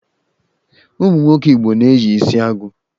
Ụmụ nwoke Igbo na-eyi isiagu